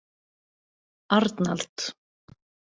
Arnald